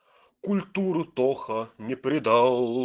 культуру тоха не предал